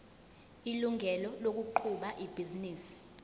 ilungelo lokuqhuba ibhizinisi